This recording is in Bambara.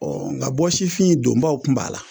Ɔ nka bɔsifin donbaw tun b'a la